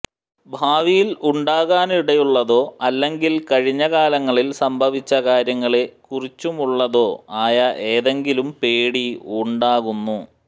ഭാവിയിൽ ഉണ്ടാകാനിടയുള്ളതോ അല്ലെങ്കിൽ കഴിഞ്ഞ കാലങ്ങളിൽ സംഭവിച്ച കാര്യങ്ങളെ കുറിച്ചുമുള്ളതോ ആയ എന്തെങ്കിലും പേടി ഉണ്ടാകുന്നു